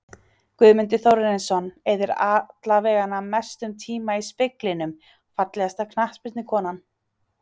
Guðmundur Þórarinsson eyðir allavega mestum tíma í speglinum Fallegasta knattspyrnukonan?